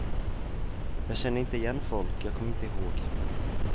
Jag kände inte igen folk, jag kom inte ihåg.